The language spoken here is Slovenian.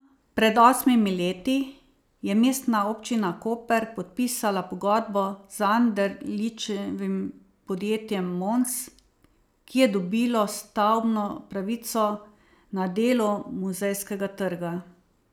Pred osmimi leti je Mestna občina Koper podpisala pogodbo z Anderličevim podjetjem Mons, ki je dobilo stavbno pravico na delu Muzejskega trga.